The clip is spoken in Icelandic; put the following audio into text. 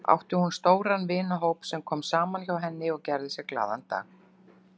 Átti hún stóran vinahóp sem kom saman hjá henni og gerði sér glaðan dag.